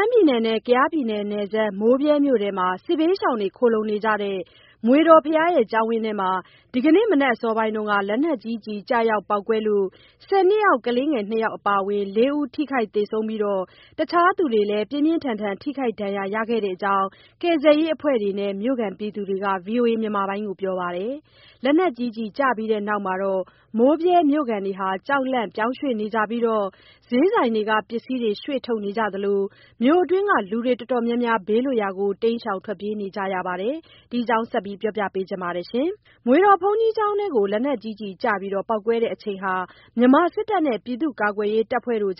မ်းပြည်နယ်နဲ့ ကယားပြည်နယ် နယ်စပ် မိုးဗြဲမြို့အတွင်း စစ်ဘေးရှောင်တွေ ခိုလှုံနေကြတဲ့ မွေတော် ဘုရားကျောင်းဝင်ထဲမှာ ဒီနေ့ မနက်အစောပိုင်းက လက်နက်ကြီးကျည် ကျရာက်ကျပေါက်ကွဲလို့ ၁၀ နှစ်အောက် ကလေးငယ် ၂ ယောက် အပါအဝင် ၄ ဦး ထိခိုက်သေဆုံးပြီး တခြားသူတွေလည်း ပြင်းပြင်းထန်ထန် ထိခိုက်ဒဏ်ရာရခဲ့တဲအ့ကြောင်း ကယ်ဆယ်ရေးအဖွဲ့တွေနဲ့ မြို့ခံတွေက VOA ကို ပြောပါတယ်။ လက်နက်ကြီးကျည်ပြီးတဲ့နောက် မိုးဗြဲမြို့ခံတွေ ကြောက်လန့် ပြောင်းရွှေ့နေပြီး ဈေးဆိုင်တွေက ပစ္စည်းတွေ ရွှေ့ထုတ်နေကြသလို မြို့အတွင်းက လူတွေတော်တော်များများ ဘေးလွတ်ရာကို တိမ်းရှောင် နေကြပါတယ်။ ဒီအကြောင်း သတင်းပေးပို့ချက်ကို မဆုမွန်က တင်ပြပေးထားပါတယ်။ မွေတော် ဘုန်းကြီးကျောင်းထဲကို လက်နက်ကြီးကျ ပေါက်ကွဲတဲ့အချိန်ဟာ မြန်မာ စစ်တပ်နဲ့ ပြည်သူ့ ကာကွယ်ရေးတပ်ဖွဲ့တွေ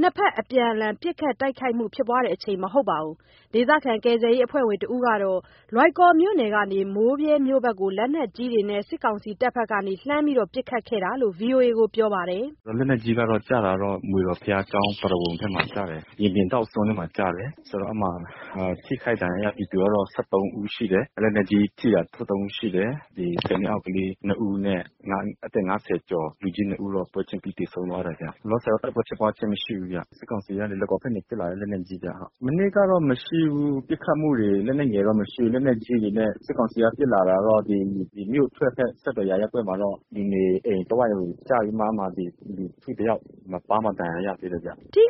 နှစ်ဘက်အပြန်အလှန် ပစ်ခတ်တိုက်ခိုက်မှု ဖြစ်ချိန် မဟုတ်ပါဘူး။ ဒေသခံ ကယ်ဆယ်ရေးအဖွဲ့ဝင်တဦးကတော့ လွိုင်ကော်မြို့နယ်ကနေ မိုးဗြဲမြို့က်ကို လက်နက်ကြီးတွေနဲ့ စစ်ကောင်စီတပ်ဘက်က လှမ်းပစ်ခတ်ခဲ့တာလို့ VOA ကို ပြောပါတယ်။ “လက်နက်ကြီး ကျတာတော့ မွေတော်ဘုရားကျောင်းပရဝုဏ်ထဲမှာ ကျတယ်၊ ရင်ပြင်ထောင့်စွန့်ထဲမှာ ကျတယ်။ ဆိုတော့ အဲ့မှာ ထိခိုက်ဒဏ်ရာရပြည်သူကတော့ ၁၃ ဦးရှိတယ်။ လက်နက်ကြီးထိတာ ၁၃ ဦးရှိတယ်။ ဒီ ၁၀ နှစ်အောက်ကလေး ၂ ဦး နဲ့ အသက် ၅၀ ကျော် လူကြီး ၂ ဦးတော့ ပွဲချင်းပြီး သေဆုံးသွားတယ်ဗျ။ လောလောဆယ်တော့ တိုက်ပွဲဖြစ်ပွားချိန်မရှိဘူးဗျ။ စစ်ကောင်စီကနေ လွိုင်ကော်ဘက်ကနေ ပစ်လာတဲ့ လက်နက်ကြီးဗျ ဟုတ်။" ထိခ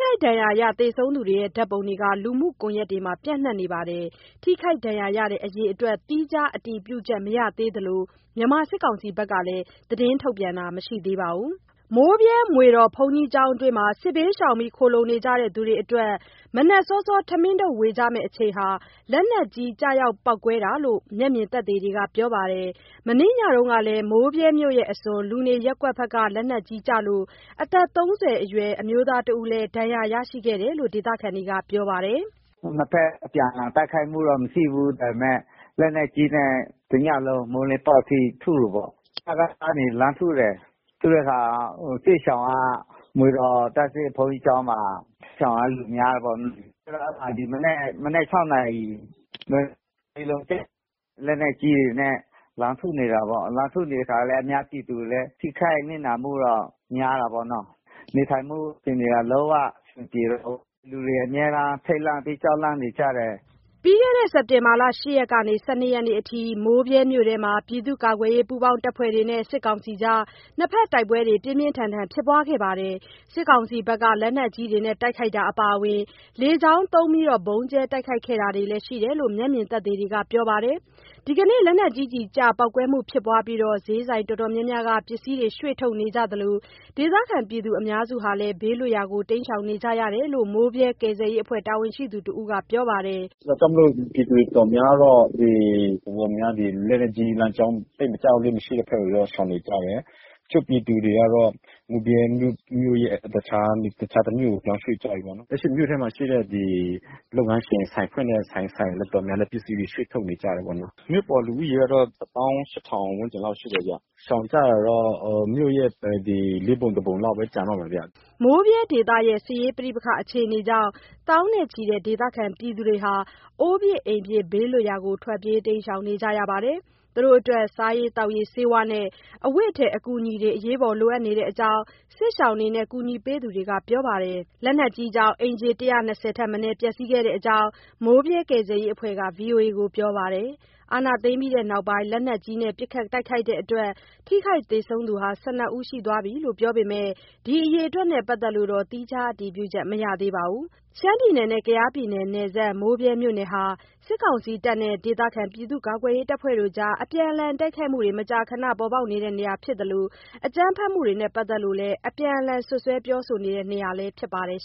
ိုက်ဒဏ်ရရ သေဆုံးသူတွေရဲ့ ဓါတ်ပုံတွေ လူမှုကွန်ယက်တွေမှာ ပျံ့နှံ့နေပါတယ်။ ထိခိုက် ဒဏ်ရာရရတဲ့ အရေအတွက် သီးခြားအတည်ပြုချက် မရသေးသလို မြန်မာစစ်ကောင်စီဘက်က သတင်းထုတ်ပြန်တာတော့ မရှိသေးပါဘူး။ မိုးဗြဲ မွေတော်ဘုရားကျောင်းအတွင်း စစ်ဘေးရှောင် ခိုလှုံနေကြသူတွေအတွက် မနက်စောစော ထမင်းထုပ်ဝေကြမယ့်အချိန်မှာ လက်နက်ကြီးကျရောက် ပေါက်ကွဲတာလို့ မျက်မြင်သက်သေတွေက ပြောပါတယ်။ မနေ့ညကလည်း မိုးဗြဲမြို့အစွန် လူနေ ရပ်ကွက်ဘက်က လက်နက်ကြီးကျလို့ အသက် ၃၀ အရွယ်အမျိုးသားတဦးလည်း ဒဏ်ရာရရှိခဲ့တယ် လို့ ဒေသခံတွေ ပြောပါတယ်။ “နှစ်ဘက် အပြန်အလှန်တိုက်ခိုက်မှုတော့ မရှိဘူး ဒါပေမယ့် လက်နက်ကြီးနဲ့တညလုံး မိုးလင်းပေါက် အထိ ထုတယ်ပေါ့၊ စကစကနေ လှမ်းထုတယ်။ ထုတဲ့အခါ စစ်ရှောင်က မွေတော်ဘုန်းကြီးကျောင်းမှာ ရှောင်တဲ့လူများတယ်ပေါ့၊ ဆိုတော့ အဲ့မှာ ဒီမနက် မနက် ၆နာရီ လက်နက်ကြီးလုံး ကျတယ်။ လက်နက်ကြီးတွေနဲ့ လှမ်းထုနေတာပေါ့။ လှမ်းထုနေတဲ့အခါလည်း အများပြည်သူလည်း ထိခိုက်နစ်နာ မှုတော့ များတာပေါ့နော်။ နေထိုင်မှုအခြေအနေက လုံးအဆင်မပြေတော့ဘူး၊ လူတွေ အမြဲတမ်း ထိပ်လန့်ပြီး ကြောက်လန့်နေကြတယ်။” ပြီးခဲ့ စက်တင်ဘာ ၈ ရက်ကနေ ၁၂ ရက်နေ့အထိ မိုးဗြဲမြို့မှာ ပြည်သူ့ကာကွယ်ရေး ပူးပေါင်းတပ်ဖွဲ့တွေနဲ့ စစ်ကောင်စီကြား တိုက်ပွဲတွ ပြင်းပြင်းထန်ထန် ဖြစ်ပွားခဲ့ပါတယ်။ စစ်ကောင်စီဘက်က လက်နက်ကြီးတွေနဲ့ တိုက်ခိုက်တာ အပါအဝင် လေကြောင်းသုံး ဗုံးကြဲတိုက်ခိုက်ခဲ့တာတွေလည်း ရှိတယ်လို့ မျက်မြင်သက်သေတွေက ပြောပါတယ်။ ဒီနေ့ လက်နက်ကြီးကျ ပေါက်ကွဲမှု ဖြစ်ပွားပြီး ဈေးဆိုင်အတော်များများက ပစ္စည်းတွေ ရွှေ့ထုတ်နေသြလို ဒေသခံတွေ အများစု ဘေးလွတ်ရာကို တိမ်ရှောင်နေကြပြီလို့လည်း မိုးဗြဲကယ်ဆယ်ရေးအဖွဲ့ တာဝန်ရှိသူတဦးက ပြောပါတယ်။ “ဒါကြောင့်မို့လို့ ပြည်သူတော်တော်များများကတော့ လက်နက်ကြီးလမ်းကြောင်း သိပ်မကျလေ့မရှိတဲ့ ဖက်ကိုရော ရှောင်နေကြတယ်။ တချို့ ပြည်သူတွေကတော့ မိုးဗြဲမြို့ရဲ့ တခြားတမြို့ကို ပြောင်းရွှေ့ကြပြီ ပေါ့နော်။ လက်ရှိမြို့ထဲမှာ ရှိတဲ့ ဒီလုပ်ငန်းရှင် ဆိုင်ဖွင့်တဲ့ ဆိုင်တော်တော်များများလည်း ပစ္စည်းတွေ ရွှေ့ထုတ်တယ်ပေါ့နော်။ မြို့ပေါ်လူဦးရေကတော့ ၁၈,၀၀၀ ဝန်းကျင်လောက်ရှိတယ်ဗျ၊ ရှောင်ကြတာ တော့ မြို့ရဲ့ ၄ ပုံ ၁ ပုံလောက်ပဲ ကျန်တော့မယ်ဗျ။” မိုးဗြဲရဲ့ စစ်ရေးပဋိပက္ခအခြေအနေကြောင့် သောင်းနဲ့ချီတဲ့ ဒေသခံတွေ အိုးပစ်အိမ်ပစ် ဘေးလွတ်ရာကို တိမ်းရှောင်နေကြရပြီး စားရေးသောက်ရေး၊ ဆေးဝါး၊ အဝတ်အထည်စတဲ့ အကူအညီတွေ လိုအပ်နေတဲ့ အကြောင်း စစ်ရှောင်တွေနဲ့ ကူညီပေးသူတွေက ပြောဆိုကြပါတယ်။ လက်နက်ကြီးကြောင့် အိမ်ခြေ ၁၂၀ ထက်မနည်း ပျက်စီးခဲ့တဲ့အကြောင်း မိုးဗြဲကယ်ဆယ်ရေးအဖွဲ့က VOA ကို ပြောပါတယ်။ အာဏာသိမ်းပြီးနောက်ပိုင်း လက်နက်ကြီးနဲ့ ပစ်ခတ်တိုက်ခိုက်တဲအ့တွက် ထိခိုက်သေဆုံးသူ ၁၂ ဦး ရှိသွားပြီလို့ ပြောပေမဲ့ ဒီ အရေအတွက်နဲ့ ပတ်သက်လို့ သီးခြားအတည်ပြုချက် မရသေးပါဘူး။ ရှမ်းပြည်နယ်နဲ့ ကယားပြည်နယ် နယ်စပ် မိုးဗြဲမြို့နယ် ဟာ စစ်ကောင်စီနဲ့ ဒေသခံကာကွယ်ရေးတပ်ဖွဲ့တွေအကြား အပြန်အလှန် တိုက်ခိုက်မှုတွေ မကြာခန ပေါ်ပေါက်နေတဲ့ နေရာဖြစ်သလို အကြမ်းဖက်မှုတွေနဲ့ ပတ်သက်လို့ အပြန်အလှန်စွပ်စွဲပြောဆိုနေတဲ့ နေရာလည်း ဖြစ်ပါတယ်